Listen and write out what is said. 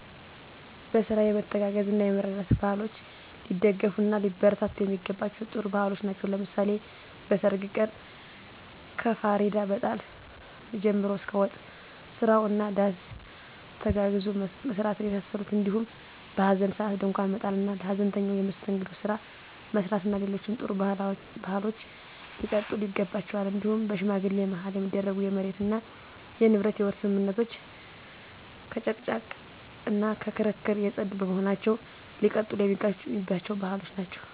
በስራ የመተጋገዝ እና የመረዳዳት ባህሎች ሊደገፍ እና ሊበረታቱ የሚገባቸም ጥሩ ባህሎች ናቸው። ለምሳሌ በሰርግ ቀን ከፍሪዳ መጣል ጀምሮ እስከ ወጥ ስራው እና ዳስ ተጋግዞ መስራትን የመሳሰሉት እንዲሁም በሀዘን ሰአት ድንኳን መጣል እና ለሀዘንተኛው የመስተንግዶ ስራ መስራት እና ሌሎችም ጥሩ ባህሎች ሊቀጥሉ ይገባቸዋል። እንዲሁም በሽማግሌ ማህል የሚደረጉ የመሬት እና የንብረት የውርስ ስምምነቶች ከመጨቃጨቅ እና ከክርክር የፀዱ በመሆናቸው ሊቀጥሉ የሚገባቸው ባህሎች ናቸው።